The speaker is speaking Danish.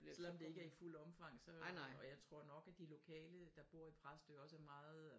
Selvom det ikke er i fuld omfang så øh og jeg tror nok at de lokale der bor i Præstø også er meget